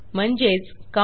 म्हणजेचcounttxt